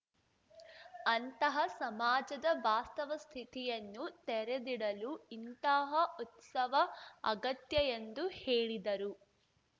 ಅಂತಹ ಸಮಾಜದ ವಾಸ್ತವ ಸ್ಥಿತಿಯನ್ನು ತೆರೆದಿಡಲು ಇಂತಹ ಉತ್ಸವ ಅಗತ್ಯ ಎಂದು ಹೇಳಿದರು